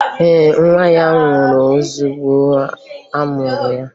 Ee, nwa ya nwụrụ ozugbo a mụrụ ya